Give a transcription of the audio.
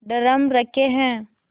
drum रखे हैं